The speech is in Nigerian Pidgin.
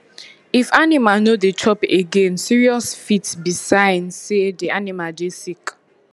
if animal no dey chop againe seriousfit be sign say dey animal dey sick